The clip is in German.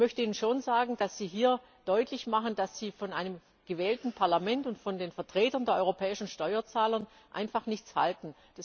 Ich möchte Ihnen schon sagen, dass Sie hier deutlich machen, dass Sie von einem gewählten Parlament und von den Vertretern der europäischen Steuerzahler einfach nichts halten.